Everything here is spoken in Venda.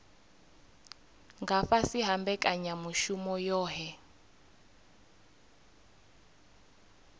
nga fhasi ha mbekanyamushumo yohe